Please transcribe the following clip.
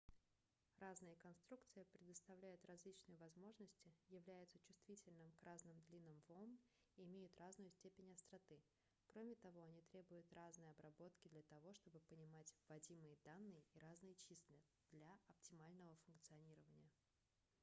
разные конструкции предоставляют различные возможности являются чувствительными к разным длинам волн и имеют разную степень остроты кроме того они требуют разной обработки для того чтобы понимать вводимые данные и разные числа для оптимального функционирования